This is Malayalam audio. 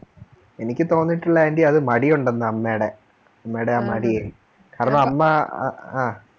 എനിക്ക് തോന്നീനീട്ടുള്ളത് aunty അത് മടിയുണ്ടന്ന അത് അമ്മേടെ അമ്മേടെ ആ മടി കാരണം അമ്മ